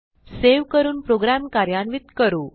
save करून programme कार्यान्वित करू